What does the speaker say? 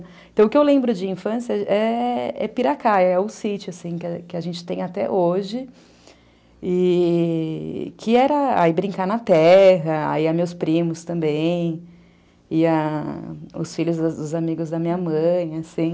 Então, o que eu lembro de infância é Piracaia, é o sítio que a gente tem até hoje, que era brincar na terra, ia meus primos também, ia os filhos dos amigos da minha mãe, assim,